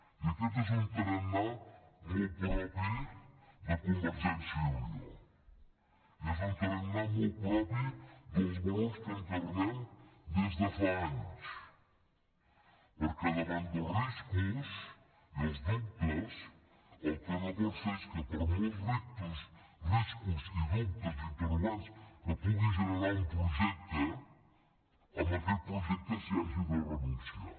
i aquest és un tarannà molt propi de convergència i unió és un tarannà molt propi dels valors que encarnem des de fa anys perquè davant dels riscos i els dubtes el que no pot ser és que per molts riscos i dubtes i interrogants que pugui generar un projecte a aquest projecte s’hi hagi de renunciar